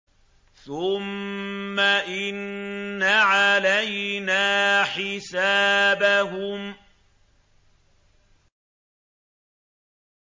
ثُمَّ إِنَّ عَلَيْنَا حِسَابَهُم